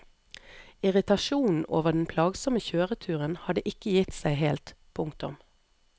Irritasjonen over den plagsomme kjøreturen hadde ikke gitt seg helt. punktum